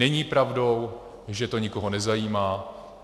Není pravdou, že to nikoho nezajímá.